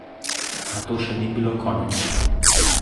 A to še ni bilo konec.